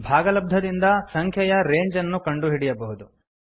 ಭಾಗಲಬ್ಧದಿಂದ ಸಂಖ್ಯೆಯ ರೇಂಜ್ ಅನ್ನು ಕಂಡುಹಿಡಿಯಬಹುದು